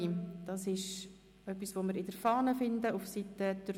Auf der Fahne finden Sie diesen auf den Seiten 33 und 34.